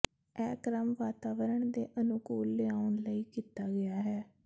ਇਹ ਕ੍ਰਮ ਵਾਤਾਵਰਣ ਦੇ ਅਨੁਕੂਲ ਲਿਆਉਣ ਲਈ ਕੀਤਾ ਗਿਆ ਹੈ